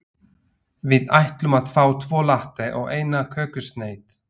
Við ætlum að fá tvo latte og eina kökusneið.